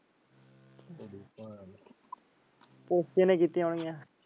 ਉਸ ਤੇ ਨੇ ਕੀਤੀ ਹੋਣੀਆਂ।